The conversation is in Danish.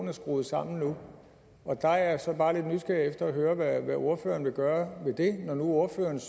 er skruet sammen nu der er jeg så bare lidt nysgerrig efter at høre hvad ordføreren vil gøre ved det når nu ordførerens